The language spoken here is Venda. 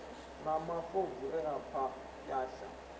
na mafobvu e a pwasha